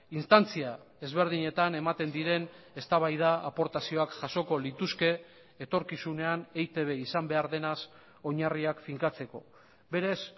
instantzia ezberdinetan ematen diren eztabaida aportazioak jasoko lituzke etorkizunean eitb izan behar denaz oinarriak finkatzeko berez